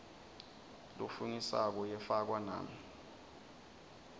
lofungisako yafakwa nami